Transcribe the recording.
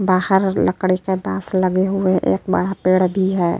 बहार लकड़ी के बास लगे हुए हैं। एक बड़ा पेड़ भी है।